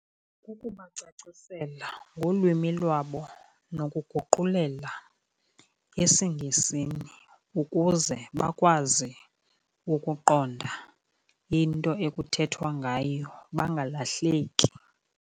Kukubacacisela ngolwimi lwabo nokuguqulela esiNgesini ukuze bakwazi ukuqonda into ekuthethwa ngayo, bangalahleki.